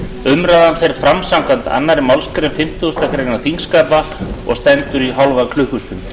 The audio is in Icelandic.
umræðan fer fram samkvæmt annarri málsgrein fimmtugustu grein þingskapa og stendur í hálfa klukkustund